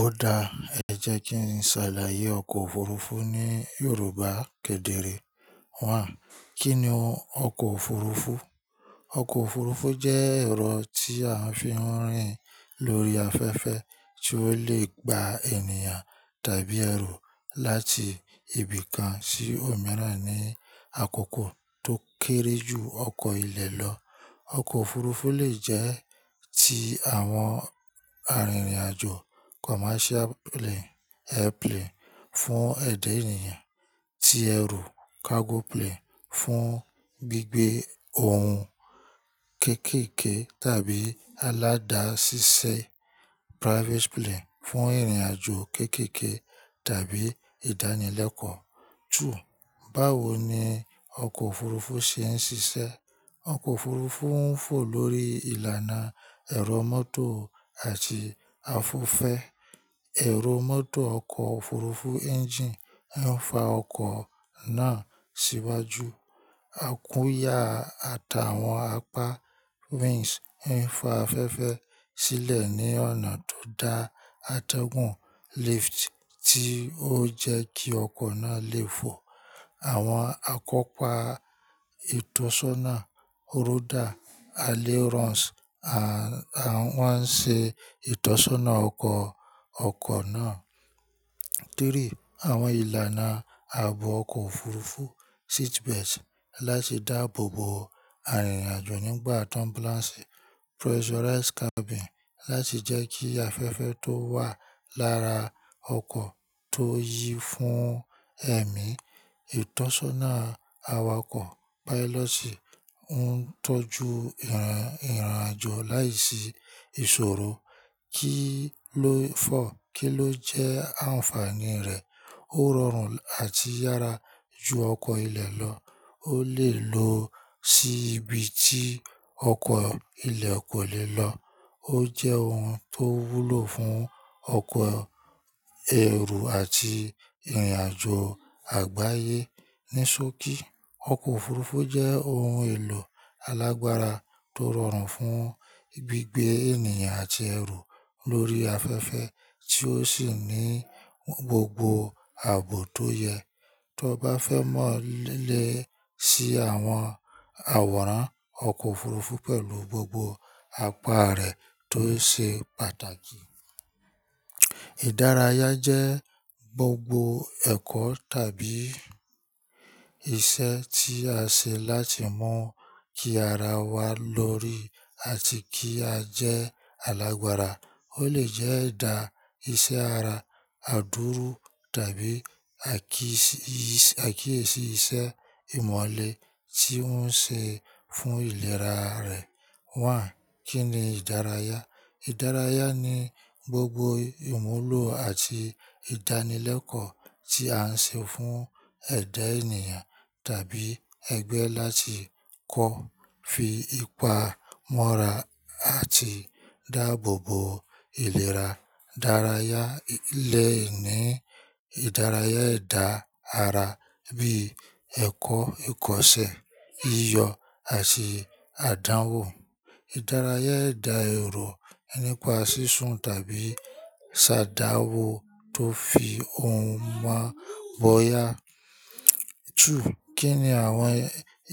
Ó da. Ẹ jẹ́ kí n ṣàlàyé ọkọ̀ òfurufú ní Yorùbá kedere. Kí ni ọkọ̀ òfurufú? Ọkọ̀ òfurufú jẹ́ ẹ̀rọ tí a fi ń rìn lórí afẹ́fẹ́ tí ó lè gba ènìyàn tàbí ẹrù láti ibi kan sí òmíràn ní àkókò tó kéré jù ọkọ ilẹ̀ lọ. Ọkọ̀ òfurufú lè jẹ́ ti àwọn arìnrìn-àjò commercial plane, airplane fún ẹ̀dá ènìyàn, ti ẹrù cargo plane fún gbígbé ohun kéékèèké tàbí aládàsíṣẹ́ private plane fún ìrìn-àjò kéékèèké tàbí ìdánilẹ́kọ̀ọ́. Báwo ni ọkọ̀ òfurufú ṣe ń ṣiṣẹ́? Ọkọ̀ òfurufú ń fò lórí ìlànà ẹ̀rọ mọ́tò àti afefẹ́. Ẹ̀rọ mọ́tò ọkọ̀ òfurufú engine ń fa ọkọ̀ náà síwájú. Àkúyà àtàwọn apá wings ń fa afẹ́fẹ́ sílẹ̀ ní ọ̀nà tó dá àtẹ̀gùn lift tí ó jẹ́ kí ọkọ̀ náà lè fò. Àwọn àkópà ìtọ́sọ́nà, ródà, alley runs, à, à ń wá ṣe ìtọ́sọ́nà ọkọ̀, ọkọ̀ náà. Àwọn ìlànà ààbò ọkọ̀ òfurufú seat belt láti dáàbò bo arìnrìn-àjò nígbà turbulence. Pressurized cabin láti jẹ́ kí afẹ́fẹ́ tó wà lára ọkọ̀ tó yí fún ẹ̀mí. Ìtọ́sọ́nà awakọ̀ pilot sì ń tọ́jú ìrìn, ìrìn-àjò láìsí ìsòro. Kí ló kí ló jẹ́ àǹfààní rẹ̀? Ó rọrùn àti yára ju ọkọ̀ ilẹ̀ lọ. Ó lè lọ sí ibi tí ọkọ ilẹ̀ kò lè lọ. Ó jẹ́ ohun tó wúlò fún ọkọ̀ ẹrù àti ìrìn-àjò àgbáyé. Ni sóki, ọkọ̀ òfurufú jẹ́ ohun èlò alágbára tó rọrùn fún gbígbé ènìyàn àti ẹrù lórí afẹ́fẹ́ tí ó sì ní gbogbo ààbò tó yẹ. Tó bá fẹ́ mọ̀ lé si àwọn àwòrán ọkọ̀ òfurufú pẹ̀lú gbogbo apá rẹ̀ tó ṣe pàtàkì. Ìdárayá jẹ́ gbogbo ẹ̀kọ́ tàbí iṣẹ́ tí a ṣe láti mu kí ara wa lórí àti kí a jẹ́ alágbára. Ó lè jẹ́ ìdá ìṣe ara, àdúró tàbí àkíyèsí iṣẹ́ ìmọ̀-ìlẹ̀ tí ó ń ṣe fún ìlera rẹ̀. Kí ni ìdárayá? Ìdárayá ni gbogbo ìmúlò àti ìdánilẹ́kọ̀ọ́ tí a ń ṣe fún ẹ̀dá ènìyàn tàbí ẹgbẹ́ láti kọ́, fi ipa mọ́ra àti dáàbò bo ìlera. Ìdárayá lè ní ìdárayá ẹ̀dá ara bíi ẹ̀kọ́ ìkọṣẹ́, iyọ̀ àti àdánwò. Ìdárayá ẹ̀dá èrò nípa sísun tàbí ṣ'àdánwò tó fi ohun máa bọyá. Kí ni àwọn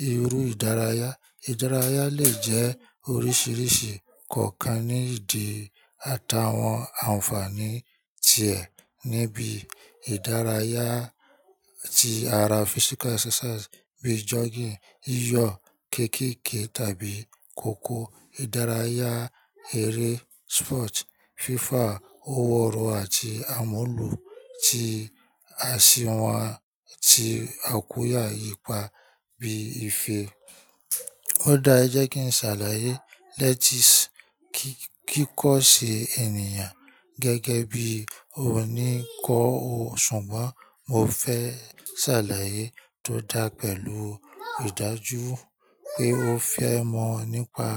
irú ìdárayá? Ìdárayá lè jẹ́ oríṣiríṣi kọ̀ọ̀kan ní ìdí àtàwọn àǹfààní tiẹ̀ níbi ìdárayá ti ara physical exercise bíi jogging, iyọ̀, kéékèèké tàbí kòkó. Ìdárayá eré sport, fífà, òwúrọ̀ àti ìmúlò tí aṣiwà tí a kù yá ipa bí i ife. Ó da. E jẹ́ kí n ṣàlàyé. Let's-- kí, kí kọ́ ṣe ènìyàn gẹ́gẹ́ bí oní kọ́ o. Ṣùgbọ́n mo fẹ́ ṣàlàyé tó dá pẹ̀lú ìdájú pé o fẹ́ mọ̀ nípa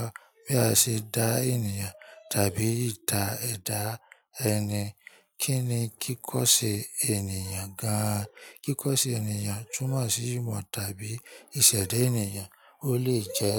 bí a ṣe dá ènìyàn tàbí ìdá, edá ẹni. Kí ni kíkọ̀ṣe ènìyàn gan an? Kíkọ̀ ṣe ènìyàn túmọ̀ sí ìmọ̀ tàbí ìṣẹ̀da ènìyàn. Ó lè jẹ́